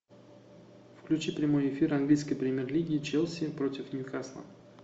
включи прямой эфир английской премьер лиги челси против ньюкасла